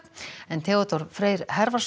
Theodór Freyr